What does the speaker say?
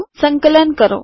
સંકલન કરો